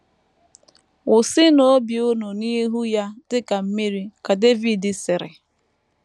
“ Wụsịnụ obi unu n’ihu Ya dị ka mmiri, ” ka Devid sịrị.